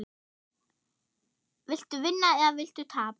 Viltu vinna eða viltu tapa?